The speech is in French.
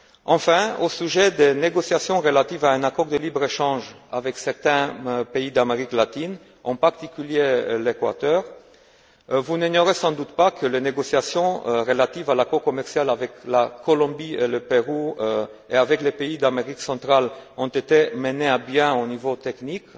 Enfin, au sujet des négociations relatives à un accord de libre échange avec certains pays d'Amérique latine, en particulier l'Équateur, vous n'ignorez sans doute pas que les négociations relatives à l'accord commercial avec la Colombie et le Pérou, et avec les pays d'Amérique centrale, ont été menées à bien au niveau technique,